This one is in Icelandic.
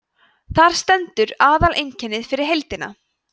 þar stendur aðaleinkennið fyrir heildina